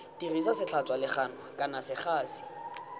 dirisa setlhatswa legano kana segasi